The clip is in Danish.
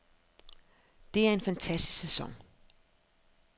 Det er en fantastisk sæson.